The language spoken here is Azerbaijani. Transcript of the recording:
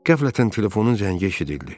Qəflətən telefonun zəngi eşidildi.